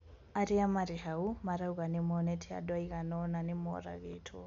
Aria mari hau marauga nimonete andũ aigana ona ñĩmaũragĩtwo.